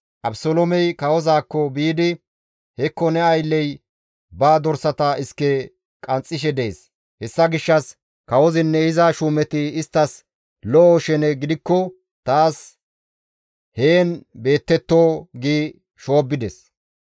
Abeseloomey kawozaakko biidi, «Hekko ne aylley ba dorsata iske qanxxishe dees; hessa gishshas kawozinne iza shuumeti isttas lo7o shene gidikko taas heen beettetto» gi shoobbides.